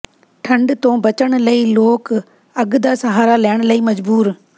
ਠੰਡ ਤੋਂ ਬਚਣ ਲਈ ਲੋਕ ਅੱਗ ਦਾ ਸਹਾਰਾ ਲੈਣ ਲਈ ਮਜ਼ਬੂਰ